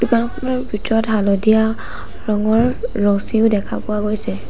দোকানখনৰ ভিতৰত হালধীয়া ৰঙৰ ৰছীও দেখা পোৱা গৈছে।